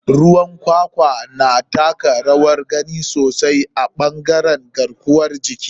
Ruwan kwakwan na taka rawar gani sosai a ɓangare garkuwar jiki.